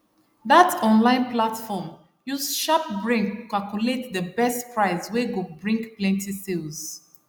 that online platform use sharp brain calculate the best price wey go bring plenty sales